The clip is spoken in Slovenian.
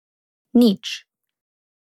Nič.